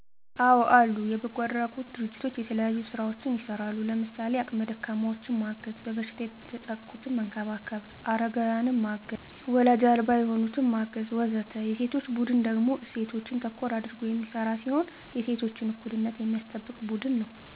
አዎ አሉ። የበጎ አድራጎት ድርጅቶች የተለያዩ ስራዎችን ይሰራሉ። ለምሳሌ:- አቅመ ደካማዎችን ማገዝ፣ በበሽታ የተጠቁትን መንከባከብ፣ አረጋውያንን ማገዝ፣ ዎላጅ አልባ የሆኑትን ማገዝ ... ወዘተ። የሴቶች ቡድን ደግሞ እሴቶችን ተኮር አድርጎ የሚሰራ ሲሆን የሴቶችን እኩልነት የሚያስጠብቅ ቡድን ነው።